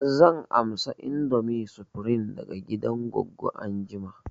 Zan amsa indomie supreme daga gidan goggo anjima